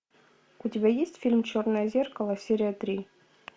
у тебя есть фильм черное зеркало серия три